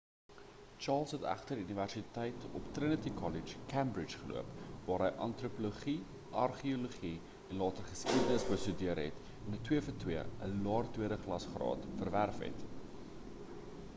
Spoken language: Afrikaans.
charles het egter universiteit op trinity kollege cambridge geloop waar hy antropologie en argeologie en later geskiedenis bestudeer het en ‘n 2:2 ‘n laer tweede klas graad verwerf het